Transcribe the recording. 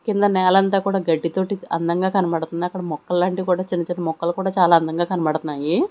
కింద నేలంతా కూడా గడ్డి తోటి అందంగా కనబడతుంది అక్కడ మొక్కలాంటివి కూడా చిన్న చిన్న మొక్కలు కూడా చాలా అందంగా కనబడతన్నాయి.